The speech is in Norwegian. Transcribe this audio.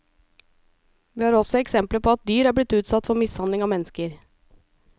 Vi har også eksempler på at dyr er blitt utsatt for mishandling av mennesker.